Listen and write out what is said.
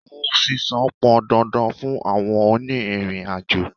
Owó sísan pọn dandan fún àwọn òní ìrìn àjò.